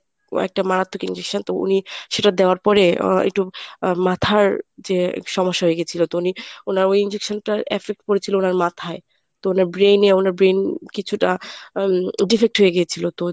একটা মারাত্মক injection তো উনি সেটা দেওয়ার পরে আহ একটু আহ মাথার যে সমস্যা হয়ে গিয়েছিল তো উনি উনার ওই injection টার affect পরেছিল উনার মাথায় তো উনার brain এ উনার brain কিছুটা উম defect হয়ে গিয়েছিল তো